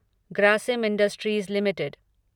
Grasim industries limited